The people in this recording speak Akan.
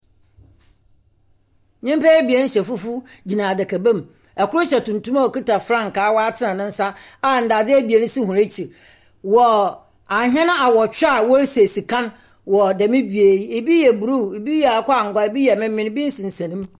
Nyimpa ebien hyɛ fufuw gyina adabam. Kor hyɛ tuntum a okuta frankaa watsen ne nsa a ndadze ebien si hɔn ekyi. Wɔ ahɛn awɔtwe a wɔresi esikan wɔ dɛm bea yi, ebi yɛ blue, ɛbi yɛ akokɔ angua, ebi yɛ memen, ebi sensan mu.